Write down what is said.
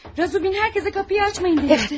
Razumixin hamıya qapını açmayın demişdi.